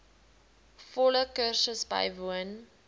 volle kursus bywoon